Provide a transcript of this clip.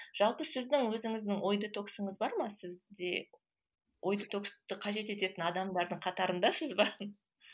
жалпы сіздің өзіңіздің ой детоксыңыз бар ма сізде ой детоксты қажет ететін адамдардың қатарындасыз ба